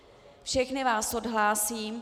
Všechny vás odhlásím.